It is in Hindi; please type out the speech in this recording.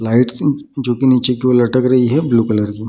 लाइट्स जो की नीचे की ओर लटक रही है ब्लू कलर की --